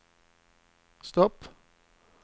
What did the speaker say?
stopp